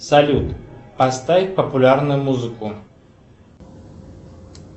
салют поставь популярную музыку